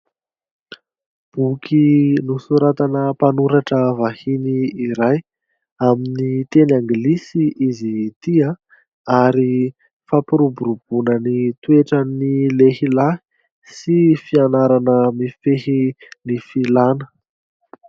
Boky nosoratana mpanoratra vahiny, iray amin'ny teny anglisy izy ity ary fampiroboroboana ny toetrany lehilahy sy fianarana mifehy ny filana.